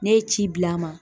Ne ye ci bila a ma